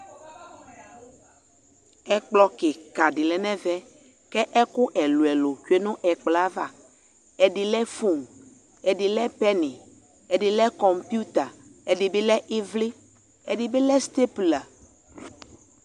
Ɛkplɔ kika de lɛ nɛvɛ kɛku ɛluɛlu tsue no ɛkplɔ avaƐde lɛ fon, ɛde lɛ pɛni ɛde lɛ kon puta, ɛde be lɛ evle, ɛde be lɛ stepla